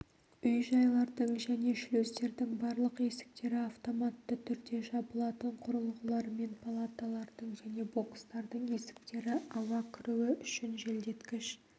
үй-жайлардың және шлюздердің барлық есіктері автоматты түрде жабылатын құрылғылармен палаталардың және бокстардың есіктері ауа кіруі үшін желдеткіш